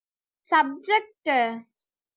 subject உ